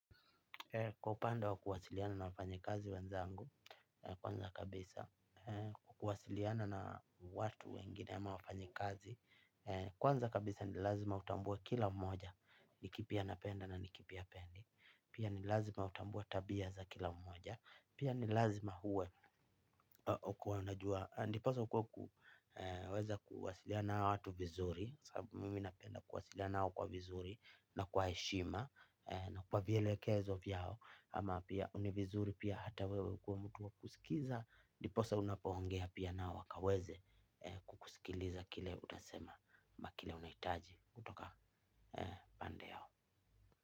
Kwa upanda wa kuwasiliana na wafanyekazi wanzangu, kwanza kabisa, kuwasiliana na watu wengine ama wafanyekazi, kwanza kabisa ni lazma utambue kila mmoja, nikipi anapenda na nikipi apendi, pia ni lazima utambue tabia za kila mmoja, pia ni lazima huwe kua unajua, ndiposa ukuweza kuwasilia naa watu vizuri. Saabu mimi napenda kuwasilia nao kwa vizuri na kwa eshima na kwa vielekezo vyao ama pia univizuri pia hata wewe kua mtu wakusikiza. Ndiposa unapaongea pia naoa wakaweze kukusikiliza kile utasema ama kile unaitaji kutoka pande yao.